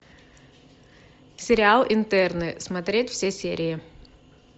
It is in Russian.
сериал интерны смотреть все серии